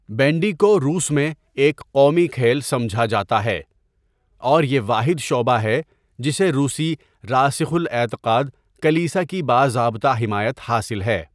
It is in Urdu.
بینڈی کو روس میں ایک قومی کھیل سمجھا جاتا ہے اور یہ واحد شعبہ ہے جسے روسی راسخ الاعتقاد کلیسا کی باضابطہ حمایت حاصل ہے۔